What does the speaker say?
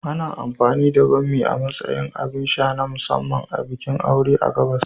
Ana amfani da bammi a matsayin abin sha na musamman na bikin aure a gabas.